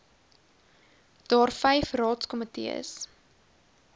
daar vyf raadskomitees